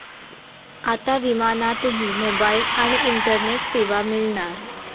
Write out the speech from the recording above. आता विमानातही मोबाईल आणि इंटरनेट सेवा मिळणार!